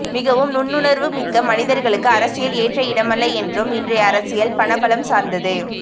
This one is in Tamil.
மிகவும் நுண்ணுணர்வு மிக்க மனிதர்களுக்கு அரசியல் ஏற்ற இடமல்ல என்றும் இன்றைய அரசியல் பண பலம் சார்ந்தது